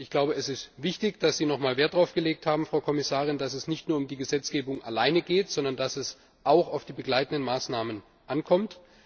Ich glaube, es ist wichtig, dass Sie noch mal Wert darauf gelegt haben, Frau Kommissarin, dass es nicht nur um die Gesetzgebung alleine geht, sondern dass es auch auf die begleitenden Maßnahmen ankommt.